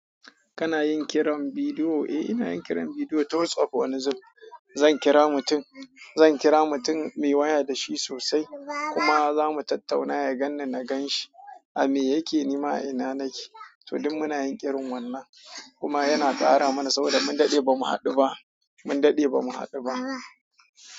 Kana yin kiran bidiyo? Eh ina yin kiran bidiyo, ta Whatsapp wani zubin. Zan kira mutum, zan kira mutum muyi waya da shi sosai kuma za mu tattauna ya ganni na gan shi, a me yake nima a ina nake. To duk muna yin kiran wannan kuma yana ƙara mana saboda mun daɗe bamu haɗu ba, mun daɗe bamu haɗu ba.